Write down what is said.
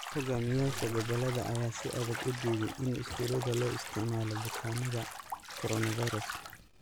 Hogaamiyayaasha gobolada ayaa si adag u diiday in iskuulada loo isticmaalo bukaanada coronavirus.